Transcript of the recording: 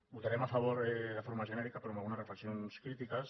votarem a favor de forma genèrica però amb algunes reflexions crítiques